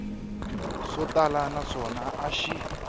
swo tala naswona a xi